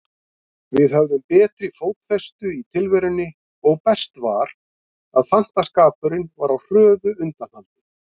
Við höfðum betri fótfestu í tilverunni og best var, að fantaskapurinn var á hröðu undanhaldi.